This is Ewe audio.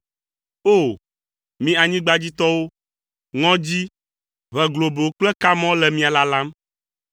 O! Mi anyigbadzitɔwo, ŋɔdzi, ʋe globo kple kamɔ le mia lalam.